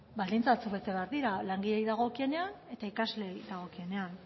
baldintza batzuk bete behar dira langileei dagokionean eta ikasleei dagokienean